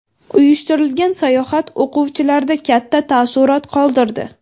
Uyushtirilgan sayohat o‘quvchilarda katta taassurot qoldirdi.